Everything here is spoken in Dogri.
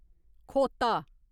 खोता